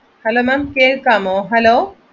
hello ma'am കേൾക്കാമോ?